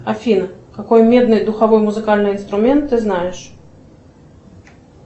афина какой медный духовой музыкальный инструмент ты знаешь